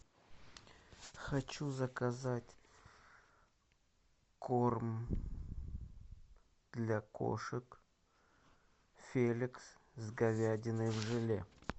хочу заказать корм для кошек феликс с говядиной в желе